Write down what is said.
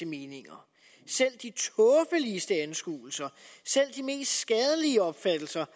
meninger selv de tåbeligste anskuelser selv de mest skadelige opfattelser